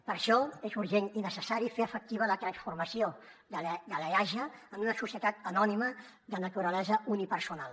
per això és urgent i necessari fer efectiva la transformació de l’eaja en una societat anònima de naturalesa unipersonal